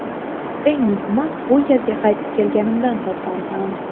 Eng muhimi, bu yerga qaytib kelganimdan xursandman.